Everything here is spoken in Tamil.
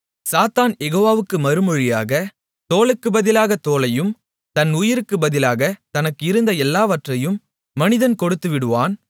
சாத்தான் யெகோவாவுக்கு மறுமொழியாக தோலுக்குப் பதிலாகத் தோலையும் தன் உயிருக்குப் பதிலாகத் தனக்கு இருந்த எல்லாவற்றையும் மனிதன் கொடுத்துவிடுவான்